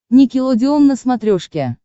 никелодеон на смотрешке